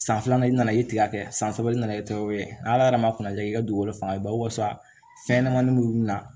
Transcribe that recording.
San filanan i nana i tigɛ san sabanan nana kɛ o ye ala yɛrɛ ma kunaya kɛ i ka dugukolo fanga basa fɛn ɲɛnɛmanin minnu na